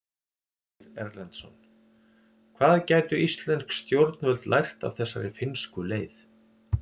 Ásgeir Erlendsson: Hvað gætu íslensk stjórnvöld lært af þessari finnsku leið?